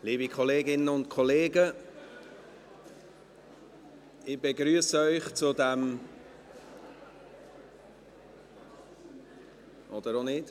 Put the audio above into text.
Liebe Kolleginnen und Kollegen, ich begrüsse Sie zu diesem … oder auch nicht.